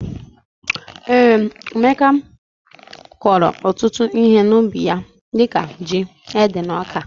Ee Emeka kọro ọtụtụ ihe na ubi ya dika jị ,ede na ọka.